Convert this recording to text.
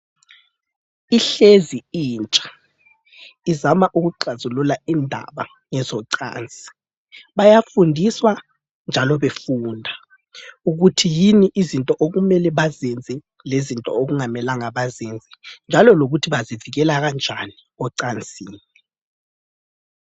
Ihlezi impi, izama ukuxazulula indaba zocansi. Bayafundiswa njalo befunda ukuthi yini izinto okumele bazenze lezinto okungamela bazenze. Njalo lokuthi bazavikela kanjani ocansini.